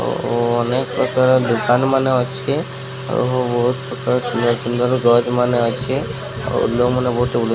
ଓ ଅନେକ ପ୍ରକାର୍ ଦୋକାନ୍ ମାନେ ଅଛେ ଆଉ ବୋହୁତ୍ ପ୍ରକାର ସୁନ୍ଦର ସୁନ୍ଦର ଗଛ୍ ମାନେ ଅଛେ ଆଉ ଲୋକ୍ ମାନେ ବୋହୁତ୍ ଉ --